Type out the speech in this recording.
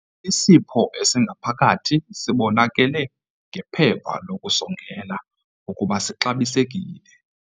Isipho esingaphakathi sibonakele ngephepha lokusongela ukuba sixabisekile.